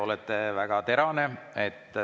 Olete väga terane.